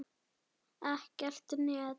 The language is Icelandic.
Ekkert net.